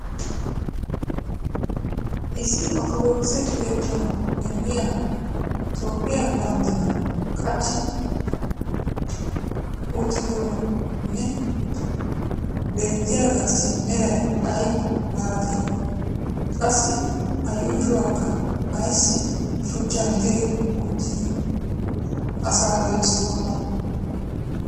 issi orttodookise keettaa pnggiya toophiya bandiran qachchi uttidoohee beettiyaagaassi meray ay malatii? qassi a yuushshuwaakka aysi shuchchan diri uttidi asaa gelisokkonaa?